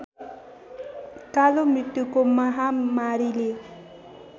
कालो मृत्युको महामारीले